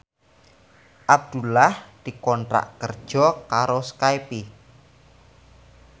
Abdullah dikontrak kerja karo Skype